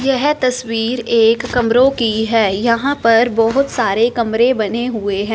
यह तस्वीर एक कमरों की है यहां पर बहोत सारे कमरे बने हुए हैं।